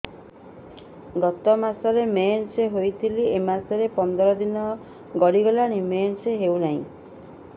ଗତ ମାସ ମେନ୍ସ ହେଇଥିଲା ଏ ମାସ ପନ୍ଦର ଦିନ ଗଡିଗଲାଣି ମେନ୍ସ ହେଉନାହିଁ